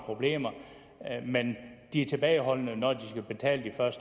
problemer men de er tilbageholdende når de skal betale de